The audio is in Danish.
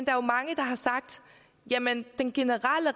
er jo mange der har sagt jamen den generelle